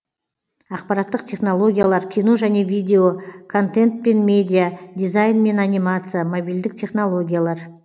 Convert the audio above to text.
ақпараттық технологиялар кино және видео контент пен медиа дизайн мен анимация мобильдік технологиялар